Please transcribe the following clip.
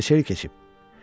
Gör nə qədər keçib.